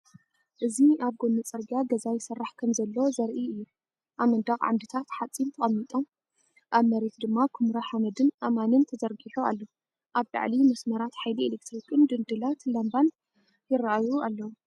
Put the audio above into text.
እዚ ኣብ ጎኒ ጽርግያ ገዛ ይስራሕ ከምዘሎ ዘርኢ'ዩ። ኣብ መንደቕ ዓምድታት ሓጺን ተቐሚጦም፡ ኣብ መሬት ድማ ኵምራ ሓመድን ኣእማንን ተዘርጊሑ ኣሎ። ኣብ ላዕሊ መስመራት ሓይሊ ኤሌክትሪክን ድንድላት ላምባን ይረኣዩ ኣለው።